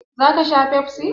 Za ka sha Pepsi?